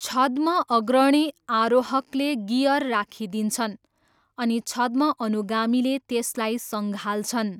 छद्म अग्रणी आरोहकले गियर राखिदिन्छन् अनि छद्म अनुगामीले त्यसलाई सँगाल्छन्।